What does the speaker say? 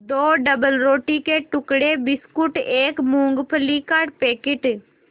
दो डबलरोटी के टुकड़े बिस्कुट एक मूँगफली का पैकेट